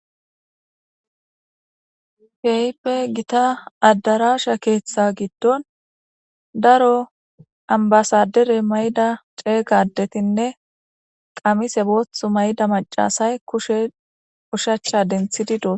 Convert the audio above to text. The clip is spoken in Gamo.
Keehipe gita addaraasha keeththa giddon daro ambasadere mayda ceegadetinne qamise boothu mayda macasay kushe ushacha denthidi doos